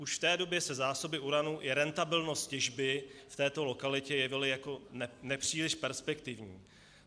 Už v té době se zásoby uranu i rentabilnost těžby v této lokalitě jevily jako nepříliš perspektivní.